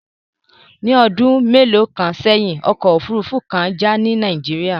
Ní ọdún mélòó kan sẹ́yìn, ọkọ̀ òfuurufú kan jà ní Nàìjíríà